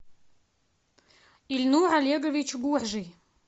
ильнур олегович горжий